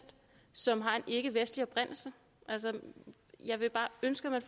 som har en ikkevestlig oprindelse jeg vil bare ønske at man